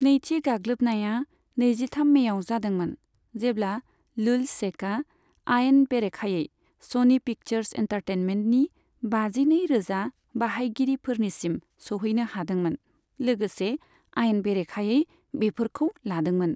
नैथि गाग्लोबनाया नैजिथाम मेआव जादोंमोन, जेब्ला लुल्जसेकआ आयेन बेरेखायै स'नि पिक्चार्स एन्टारटेनमेन्टनि बाजिनै रोजा बाहायगिरिफोरनिसिम सौहैनो हादोंमोन, लोगोसे आयेन बेरेखायै बेफोरखौ लादोंमोन।